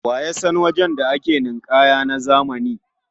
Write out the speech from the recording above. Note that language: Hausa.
Wa ya san wajen da ake ninƙaya na zamani?